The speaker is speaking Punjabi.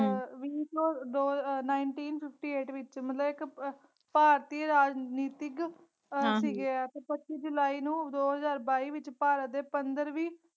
ਵੀਹ ਚ ਦੋ ਨਾਇਨਟੀਨ ਫਿਫਟੀ ਏਟ ਵਿਚ ਮਤਲਬ ਇਕ ਭਾਰਤੀਯ ਰਾਜਨੀਤਿਕ ਆਹ ਸੀਗੇ ਇਹ ਤੇ ਪੱਚੀ ਜੁਲਾਈ ਨੂੰ ਦੋ ਹਾਜ਼ਰ ਬਾਈ ਵਿਚ ਭਾਰਤ ਦਿ ਪੰਦਰਵੀ।